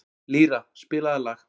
Lýra, spilaðu lag.